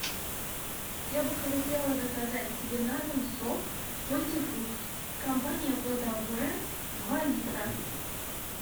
я бы хотела заказать себе на дом сок мультифрукт компания плодовое два литра